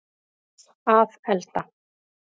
að elda